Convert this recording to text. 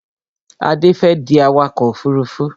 Adé fẹ́ di awakọ̀ ọkọ̀ òfurufú